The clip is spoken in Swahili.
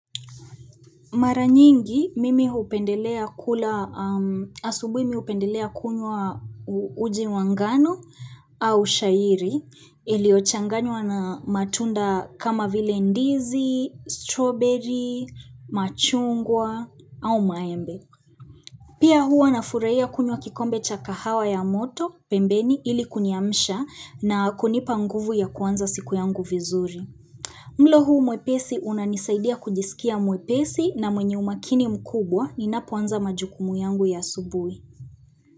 Mara nyingi mimi hupendelea kula asubuhi mi upendelea kunywa uji wangano au shairi iliyochanganywa na matunda kama vile ndizi, strawberry, machungwa au maembe. Pia huwa nafurahia kunywa kikombe chakahawa ya moto pembeni ili kuniamsha na kunipa nguvu ya kuanza siku yangu vizuri. Mlo huu mwepesi unanisaidia kujisikia mwepesi na mwenye umakini mkubwa ni napoanza majukumu yangu ya asubui.